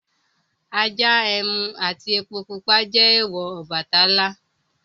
Ajá, ẹmu àti epo pupa jẹ́ èèwọ̀ Ọbàtálá.